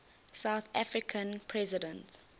south african president